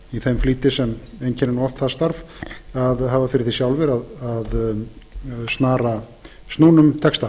í þeim flýti sem einkennir oft það starf að hafa fyrir því sjálfir að snara snúnum texta